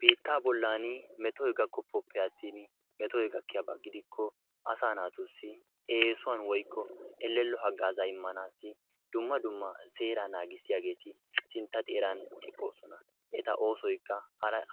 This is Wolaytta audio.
biitta bollan mettoy gakkopoppe attin metoy gakkiyaaba gidikko asaa naatussi eessuwan woykko elello hagaazza immassi dumma dumma seera haagazza immiytaageeti sinttaa xeeraan eqqoosona. eta oosoykka